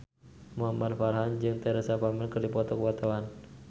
Muhamad Farhan jeung Teresa Palmer keur dipoto ku wartawan